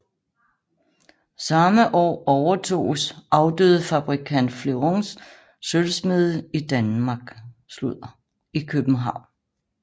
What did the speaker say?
Samme år overtoges afdøde fabrikant Flerons sølvsmedie i København